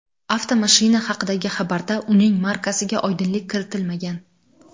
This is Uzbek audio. Avtomashina haqidagi xabarda uning markasiga oydinlik kiritilmagan.